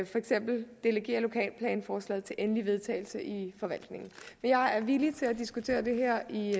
for eksempel delegere lokalplanforslaget til endelig vedtagelse i forvaltningen men jeg er villig til at diskutere det her i